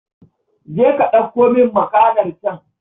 Je ka ɗauko min makanar can